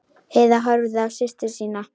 Heiða horfði á systur sína.